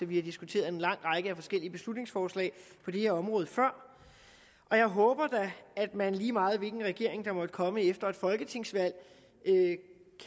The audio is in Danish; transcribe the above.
vi har diskuteret en lang række af forskellige beslutningsforslag på det her område før og jeg håber da at man lige meget hvilken regering der måtte komme efter et folketingsvalg